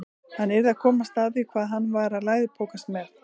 Hann yrði að komast að því hvað hann var að læðupokast með.